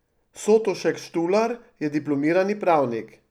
Sotošek Štular je diplomirani pravnik.